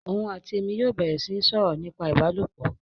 Òun àti èmi yóò bẹ̀rẹ̀ sí ń sọ̀rọ̀ nípa ìbálòpọ̀